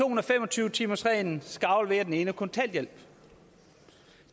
og fem og tyve timersreglen skal aflevere den enes kontanthjælp